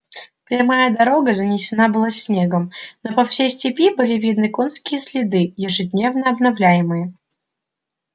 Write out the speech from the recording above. прямая дорога занесена была снегом но по всей степи видны были конские следы ежедневно обновляемые